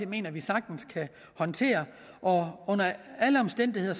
mener vi sagtens kan håndtere og under alle omstændigheder